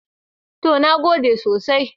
To, na gode sosai.